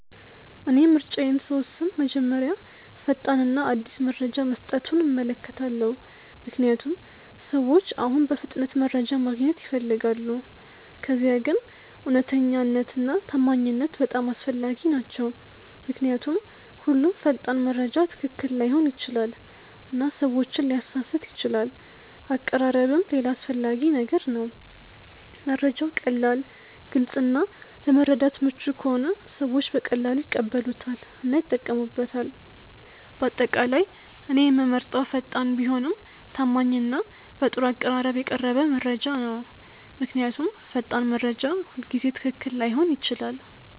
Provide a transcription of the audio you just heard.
እኔ ምርጫዬን ስወስን መጀመሪያ ፈጣን እና አዲስ መረጃ መስጠቱን እመለከታለሁ፣ ምክንያቱም ሰዎች አሁን በፍጥነት መረጃ ማግኘት ይፈልጋሉ። ከዚያ ግን እውነተኛነት እና ታማኝነት በጣም አስፈላጊ ናቸው ምክንያቱም ሁሉም ፈጣን መረጃ ትክክል ላይሆን ይችላል እና ሰዎችን ሊያሳስት ይችላል አቀራረብም ሌላ አስፈላጊ ነገር ነው፤ መረጃው ቀላል፣ ግልጽ እና ለመረዳት ምቹ ከሆነ ሰዎች በቀላሉ ይቀበሉታል እና ይጠቀሙበታል። በአጠቃላይ እኔ የምመርጠው ፈጣን ቢሆንም ታማኝ እና በጥሩ አቀራረብ የቀረበ መረጃ ነው። ምክንያቱም ፈጣን መረጃ ሁልጊዜ ትክክል ላይሆን ይችላል።